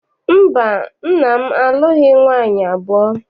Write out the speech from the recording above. Mba, nna m alụghị nwaanyị abụọ.